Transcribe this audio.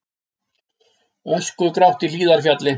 Öskugrátt í Hlíðarfjalli